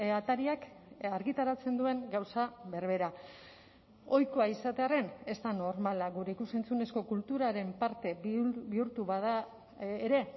atariak argitaratzen duen gauza berbera ohikoa izatearren ez da normala gure ikus entzunezko kulturaren parte bihurtu bada ere